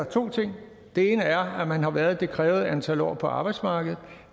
to ting den ene er at man har været det krævede antal år på arbejdsmarkedet